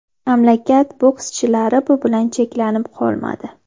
Mamlakat bokschilari bu bilan cheklanib qolmadi.